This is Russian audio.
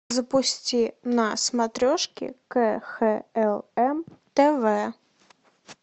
запусти на смотрешке кхлм тв